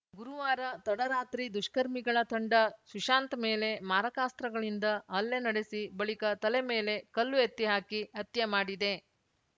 ಗುರುವಾರ ತಡರಾತ್ರಿ ದುಷ್ಕರ್ಮಿಗಳ ತಂಡ ಸುಶಾಂತ್‌ ಮೇಲೆ ಮಾರಕಾಸ್ತ್ರಗಳಿಂದ ಹಲ್ಲೆ ನಡೆಸಿ ಬಳಿಕ ತಲೆ ಮೇಲೆ ಕಲ್ಲು ಎತ್ತಿ ಹಾಕಿ ಹತ್ಯೆ ಮಾಡಿದೆ